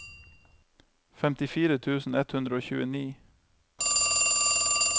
femtifire tusen ett hundre og tjueni